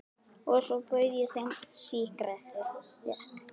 Og svo bauð ég þeim sígarettu.